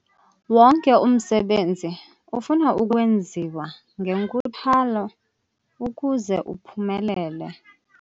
Wonke umsebenzi ufuna ukwenziwa ngenkuthalo ukuze uphumelele.